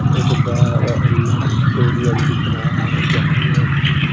एक बड़ा स्टेडियम दिख रहा है जहा बहुत सी --